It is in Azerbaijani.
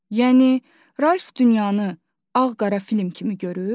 Yəni Ralf dünyanı ağ-qara film kimi görür?